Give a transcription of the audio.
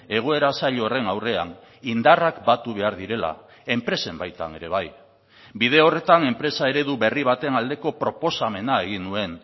egoera zail horren aurrean indarrak batu behar direla enpresen baitan ere bai bide horretan enpresa eredu berri baten aldeko proposamena egin nuen